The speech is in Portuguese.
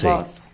Sim. Vós